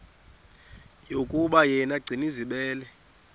yokuba yena gcinizibele